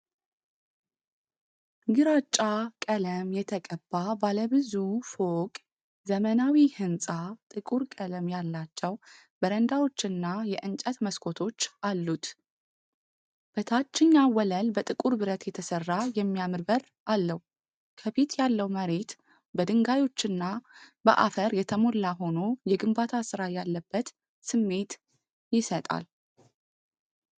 ግራጫ ቀለም የተቀባ ባለ ብዙ ፎቅ ዘመናዊ ሕንፃ፣ ጥቁር ቀለም ያላቸው በረንዳዎችና የእንጨት መስኮቶች አሉት። በታችኛው ወለል በጥቁር ብረት የተሠራ የሚያምር በር አለው። ከፊት ያለው መሬት በድንጋዮችና በአፈር የተሞላ ሆኖ፣ የግንባታ ስራ ያለበት ስሜት ይሰጣል።